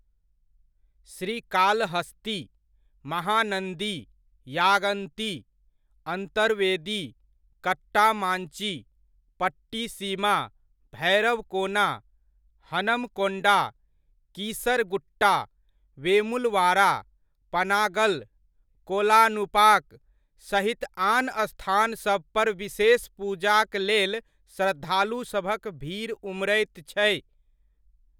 श्रीकालहस्ती, महानन्दी, यागन्ती, अन्तरवेदी, कट्टामांची, पट्टिसीमा, भैरवकोना, हनमकोंडा, कीसरागुट्टा, वेमुलवाड़ा, पनागल, कोलानुपाक सहित आन स्थानसभ पर विशेष पूजाक लेल श्रद्धालुसभक भीड़ उमड़ैत छै।